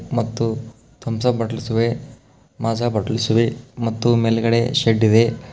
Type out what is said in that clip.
ಮತ್ತು Thums Up bottles ಇವೆ Maaza bottles ಇವೆ ಮತ್ತು ಮೇಲ್ಗಡೆ ಶೆಡ್ ಇದೆ.